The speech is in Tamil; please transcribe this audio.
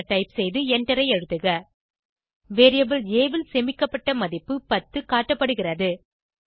ஆ என டைப் செய்து எண்டரை அழுத்துக வேரியபிள் ஆ ல் சேமிக்கப்பட்ட மதிப்பு 10 காட்டப்படுகிறது